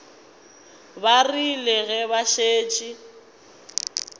ba rile ge ba šetše